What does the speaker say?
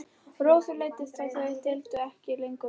Rósu leiddist að þau deildu ekki lengur rúmi.